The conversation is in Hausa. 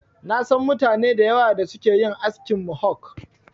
Na san mutane da yawa da suke yin askin Mohok.